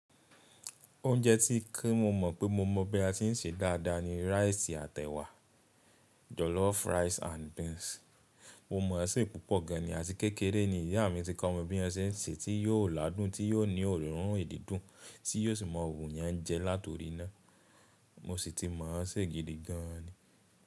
Oúnjẹ tíì kí mo mọ̀ pé mo mọ̀ bí a tí ń se dáadáa ni rice àtì ẹwà, jollof rice and beans. Mo mọ̀ ẹṣẹ́ púpọ̀ gan ni àti kékeré ni ìyá mi ti kọ́ mi bí ẹṣẹ́ ń ṣe tí yóò ládùn, tí yóò ní òórùn èyí dùn tí yóò sì mọ wu yẹn jẹ látọrín náà. Mo sì tí mọ̀ ṣẹ́ gidi gan ni.